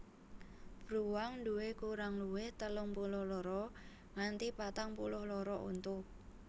Bruwang nduwé kurang luwih telung puluh loro nganti patang puluh loro untu